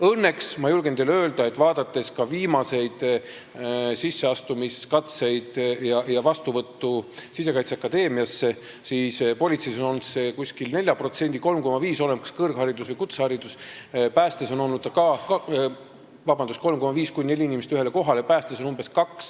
Õnneks ma julgen teile öelda, et vaadates ka viimaseid sisseastumiskatseid ja vastuvõttu Sisekaitseakadeemiasse, siis politseis on olnud see umbes 3,5–4 inimest ühele kohale – oleneb, kas kõrgharidus või kutseharidus –, päästes on see umbes 2.